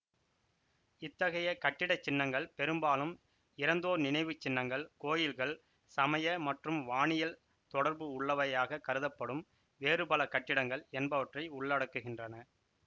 இத் தகைய கட்டிடச்சின்னங்கள் பெரும்பாலும் இறந்தோர் நினைவு சின்னங்கள் கோயில்கள் சமய மற்றும் வானியல் தொடர்புள்ளவையாகக் கருதப்படும் வேறு பல கட்டிடங்கள் என்பவற்றை உள்ளடக்குகின்றன